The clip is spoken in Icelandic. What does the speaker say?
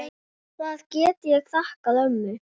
Það get ég þakkað ömmu.